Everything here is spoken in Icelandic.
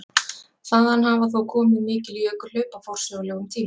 Þaðan hafa þó komið mikil jökulhlaup á forsögulegum tíma.